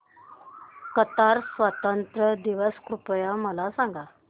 Qatar स्वातंत्र्य दिवस कृपया मला सांगा